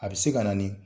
A bɛ se ka na ni